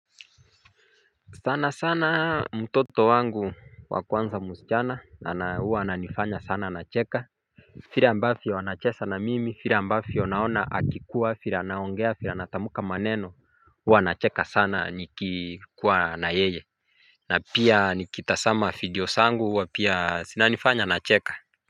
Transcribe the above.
Sana sana mtoto wangu wa kwanza mchana na huwa ananifanya sana nacheka vile ambavyo anacheza na mimi, vile ambavyo naona akikuwa, vile anaongea, vile anatamka maneno, huwa nacheka sana nikikuwa na yeye na pia nikitazama video zangu huwa pia zinanifanya nacheka.